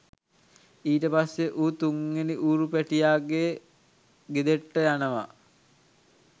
ඊට පස්සේ ඌ තුන්වෙනි ඌරු පැටියාගේ ගෙදෙට්ට යනවා